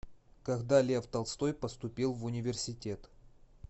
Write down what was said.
когда лев толстой поступил в университет